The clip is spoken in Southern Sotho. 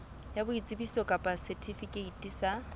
ya boitsebiso kapa setifikeiti sa